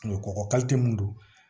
kɔkɔli mun don